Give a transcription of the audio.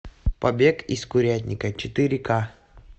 побег из курятника четыре к